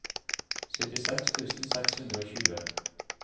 syttiseks tusen seks hundre og tjue